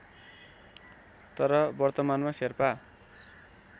तर वर्तमानमा शेर्पा